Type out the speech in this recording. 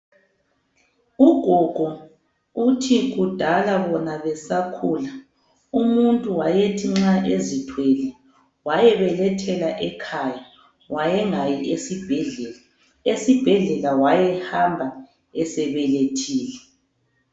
Ugogo uthi kudala bona besakhula umuntu wayethi nxa ezithwele wayebelethela ekhaya, wayengayi esibhedlela. Esibhedlela wayehamba esebelethile.